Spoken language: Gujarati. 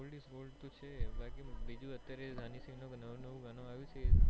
old is gold તો છે બાકી બીજું અત્યારે રાની સિંહ નું નવું નવું ગણું આવ્યું છે